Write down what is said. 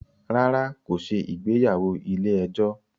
Rárá, kò ṣe ìgbéyàwó ilé ẹjọ́